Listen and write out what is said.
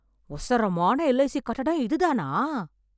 ஒசரமான LIC கட்டடம், இதுதானா...